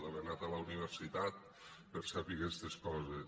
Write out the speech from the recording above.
haver anat a la universitat per saber aquestes coses